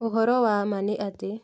Ũhoro wa ma nĩ atĩ